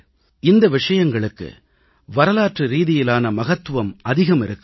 இந்த விஷயங்களுக்கு வரலாற்று ரீதியிலான மகத்துவம் அதிகம் இருக்கிறது